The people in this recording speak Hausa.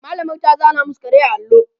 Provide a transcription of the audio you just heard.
mallamar ta zana masu kare a allo